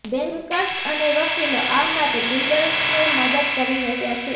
bankers અને વકીલો આ માટે બિલ્ડર્સને મદદ કરી રહ્યા છે